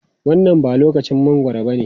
Wannan ba lokacin mangwaro bane.